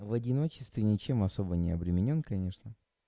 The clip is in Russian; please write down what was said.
в одиночестве ничем особо не обременён конечно